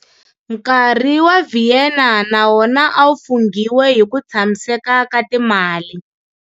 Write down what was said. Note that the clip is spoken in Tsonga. Nkarhi wa Vienna na wona a wu funghiwe hi ku tshamiseka ka timali.